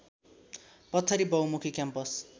पथरी बहुमुखी क्याम्पस